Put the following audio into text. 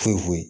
Foyi foyi foyi